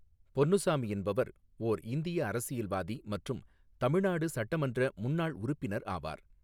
பொன்னுசாமி என்பவர் ஓா் இந்திய அரசியல்வாதி மற்றும் தமிழ்நாடு சட்டமன்ற முன்னாள் உறுப்பினர் ஆவார்.